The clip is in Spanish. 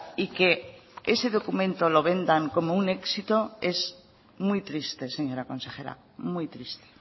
y que ese documento lo vendan como un éxito es muy triste señora consejera muy triste